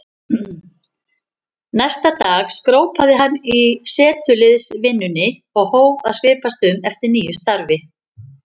Næsta dag skrópaði hann í setuliðsvinnunni og hóf að svipast um eftir nýju starfi.